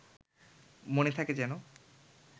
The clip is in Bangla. মনে থাকে যেন